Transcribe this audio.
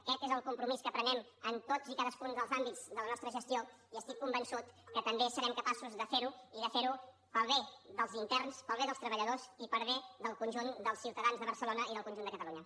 aquest és el compromís que prenem en tots i cadascun dels àmbits de la nostra gestió i estic convençut que també serem capaços de fer ho i de fer ho pel bé dels interns pel bé dels treballadors i per bé del conjunt dels ciutadans de barcelona i del conjunt de catalunya